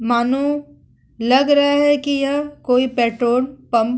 मानो लग रहा है की यह कोई पेट्रोल पंप --